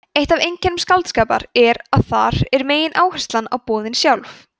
eitt af einkennum skáldskapar er að þar er megináherslan á boðin sjálf